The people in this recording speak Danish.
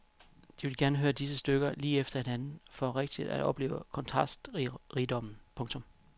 De ville gerne høre disse stykker lige efter hinanden for rigtig at opleve kontrastrigdommen. punktum